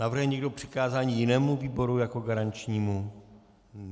Navrhuje někdo přikázání jinému výboru jako garančnímu?